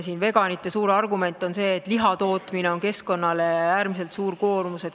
Veganite suur argument on see, et lihatootmine on keskkonnale äärmiselt suur koormus.